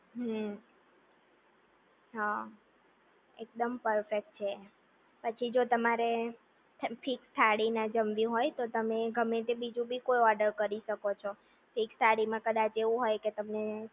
હમ્મ હા એકદમ પરફેક્ટ છે પછી જો તમારે ફિક્સ થાળી ના જમાવી હોય તો તમે ગમે તે બીજું બી કોઈ ઓર્ડર કરી શકો છો ફિક્સ થાળીમાં કદાચ એવું હોય કે તમને